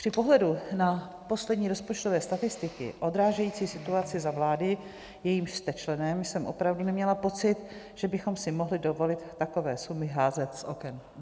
Při pohledu na poslední rozpočtové statistiky odrážející situaci za vlády, jejímž jste členem, jsem opravdu neměla pocit, že bychom si mohli dovolit takové sumy házet z oken.